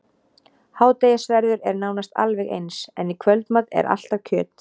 Hádegisverður er nánast alveg eins, en í kvöldmat er alltaf kjöt.